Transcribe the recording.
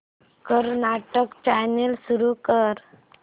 Kannada channel सुरू कर